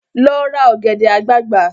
Lọ ra ọ̀gẹ̀dẹ̀ àgbagbà!